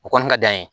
O kɔni ka d'an ye